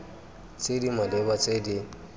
tse di maleba tse di